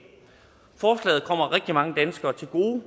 forslaget kommer rigtig mange danskere til gode